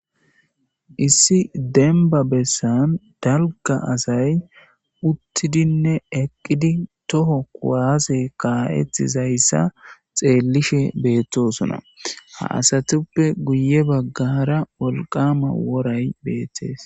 Issi denba bessan dalga asay uttidinne eqqidi toho kuwaase kaa'ettizayssa xeellishe beettosona ha asatuppe guye baggara wolqama woray beettees.